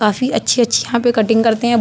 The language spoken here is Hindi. काफी अच्छी-अच्छी यहाँ पे कटिंग करते हैं।